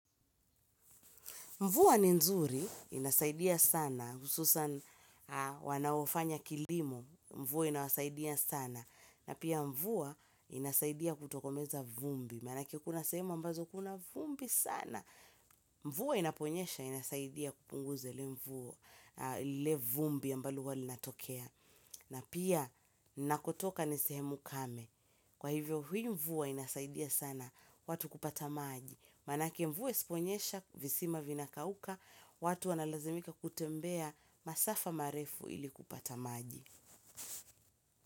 Mvua ni nzuri, inasaidia sana, hususani wanaofanya kilimo, mvua inawasaidia sana, na pia mvua inasaidia kutokomeza vumbi, maana ake kuna sehemu ambazo kuna vumbi sana. Mvuwa inaponyesha, inasaidia kupunguza ile vumbi ambalo huwa linatokea, na pia ninakotoka ni sehemu kame. Kwa hivyo hii mvua inasaidia sana watu kupata maji, maana ake mvua isiponyesha visima vinakauka. Watu wanalazimika kutembea masafa marefu ili kupata maji.